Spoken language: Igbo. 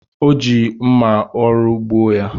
Ọ ji mma oru gbuo ya